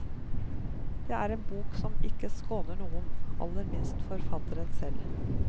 Det er en bok som ikke skåner noen, aller minst forfatteren selv.